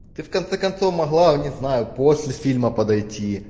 ты в конце концов могла не знаю после фильма подойти